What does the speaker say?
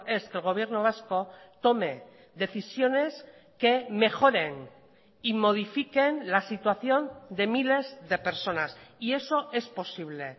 es que el gobierno vasco tome decisiones que mejoren y modifiquen la situación de miles de personas y eso es posible